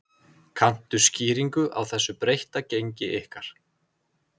Kanntu skýringu á þessu breytta gengi ykkar?